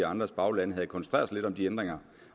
andres baglande havde koncentreret sig lidt om de ændringer